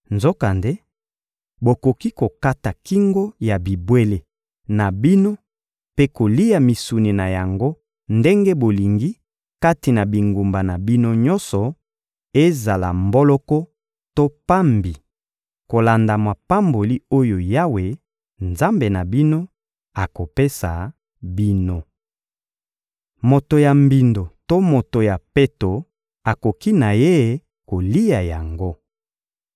Nzokande, bokoki kokata kingo ya bibwele na bino mpe kolia misuni na yango ndenge bolingi kati na bingumba na bino nyonso, ezala mboloko to pambi, kolanda mapamboli oyo Yawe, Nzambe na bino, akopesa bino. Moto ya mbindo to moto ya peto akoki na ye kolia yango.